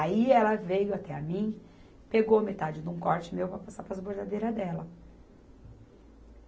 Aí ela veio até a mim, pegou metade de um corte meu para passar para as bordadeiras dela.